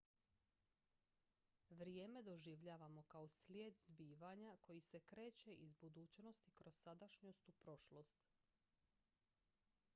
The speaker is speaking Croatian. vrijeme doživljavamo kao slijed zbivanja koji se kreće iz budućnosti kroz sadašnjost u prošlost